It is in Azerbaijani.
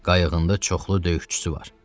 Qayığında çoxlu döyüşçüsü var.